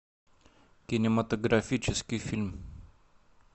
кинематографический фильм